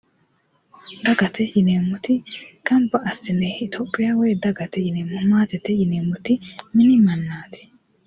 Dagate yineemoti ganibba asinne itiyophiya woyi dagate yineemo maatete yineemoti mini nannaati